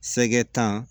Sɛgɛ tan